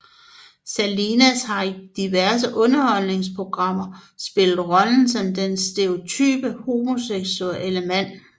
Salinas har i diverse underholdningsprogrammer spillet rollen som den stereotype homoseksuelle mand